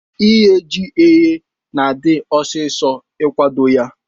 Ighe ji eghe na adi ọsisọ ikwado ya.